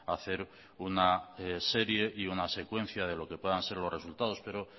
hacer una serie y una secuencia de lo que puedan ser los resultados pero